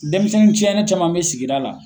Dɛnmisɛn ciɲɛnen caman bɛ sigida la